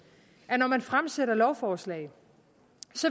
at når man fremsætter lovforslag